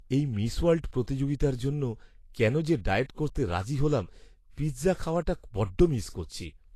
এই Miss World প্রতিযোগিতার জন্য কেন যে ডায়েট করতে রাজি হলাম! পিৎজা খাওয়াটা বড্ড মিস করছি।